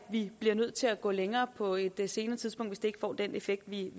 vi bliver nødt til at gå længere på et et senere tidspunkt hvis det ikke får den effekt vi